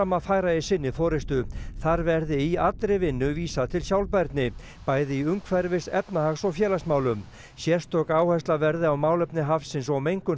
að færa í sinni forystu þar verði í allri vinnu vísað til sjálfbærni bæði í umhverfis efnahags og félagsmálum sérstök áhersla verði á málefni hafsins og mengun